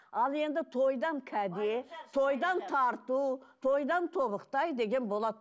ал енді тойдан кәде тойдан тарту тойдан тобықтай деген болады